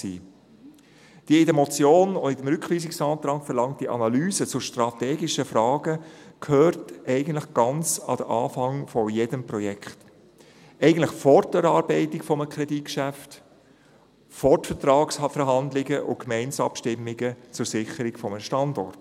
Die in der Motion und auch im Rückweisungsantrag verlangte Analyse zu strategischen Fragen gehört eigentlich ganz an den Anfang eines jeden Projekts: eigentlich vor die Erarbeitung eines Kreditgeschäfts, vor die Vertragsverhandlungen und Gemeindeabstimmungen zur Sicherung eines Standorts.